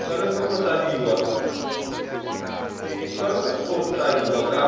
tshwanetse go tladiwa